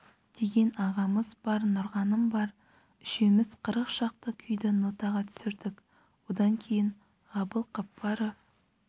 деген ағамыз бар нұрғаным бар үшеуіміз қырық шақты күйді нотаға түсірдік одан кейін ғабыл қаппаров